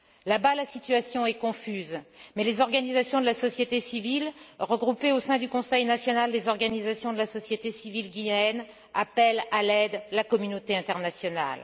Là bas la situation est confuse, mais les organisations de la société civile, regroupées au sein du Conseil national des organisations de la société civile guinéenne, appellent à l'aide la communauté internationale.